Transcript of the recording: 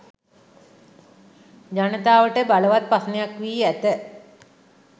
ජනතාවට බලවත් ප්‍රශ්නයක් වී ඇත.